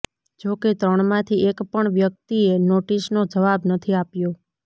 જો કે ત્રણમાંથી એક પણ વ્યક્તિએ નોટિસનો જવાબ નથી આપ્યો